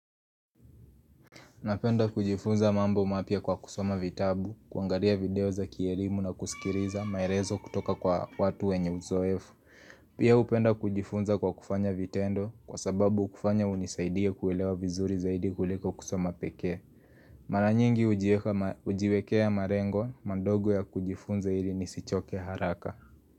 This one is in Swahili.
Napenda kujifunza mambo mapya kwa kusoma vitabu, kuangalia video za kielimu na kusikiliza maelezo kutoka kwa watu wenye uzoefu. Pia hupenda kujifunza kwa kufanya vitendo kwa sababu kufanya hunisaidia kuelewa vizuri zaidi kuliko kusoma peke. Maranyingi hujiwekea malengo, madogo ya kujifunza ili nisichoke haraka.